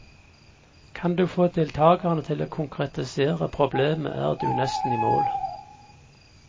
Kan du få deltagerne til å konkretisere problemet er du nesten i mål.